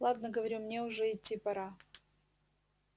ладно говорю мне уже идти пора